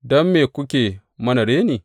Don me kuke mana reni?